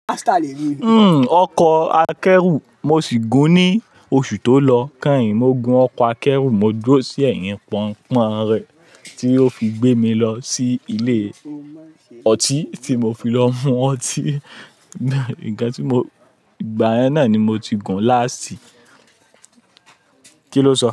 Uhm, ọkọ̀ akẹ́rù mo sì gùn ní oṣù tó lọ. Káì, mo gun ọkọ̀ akẹ́rù, mo dúró sí ẹ̀yìn pọ́nńpọ́n rẹ̀ tí ó fi gbé mi lọ sí ilé ọtí tí mo fi lọ mu ọtí. Ǹkan tí mo, ìgbà yẹn náà ni mo ti gùn láàsì. Kí ló sọ?